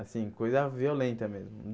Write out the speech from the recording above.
Assim, coisa violenta mesmo.